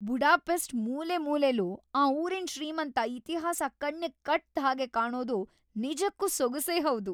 Budapest ಮೂಲೆಮೂಲೆಲೂ ಆ ಊರಿನ್‌ ಶ್ರೀಮಂತ ಇತಿಹಾಸ ಕಣ್ಣಿಗ್‌ ಕಟ್ದ್‌ ಹಾಗ್‌ ಕಾಣೋದು ನಿಜಕ್ಕೂ ಸೊಗಸೇ ಹೌದು.